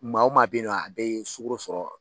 Maa o maa bɛ yen nɔ a bɛɛ ye sugaro sɔrɔ